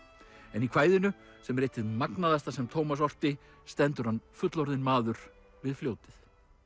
en í kvæðinu sem er eitt hið magnaðasta sem Tómas orti stendur hann fullorðinn maður við fljótið